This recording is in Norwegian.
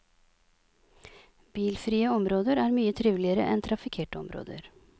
Bilfrie områder er mye triveligere enn trafikkerte områder.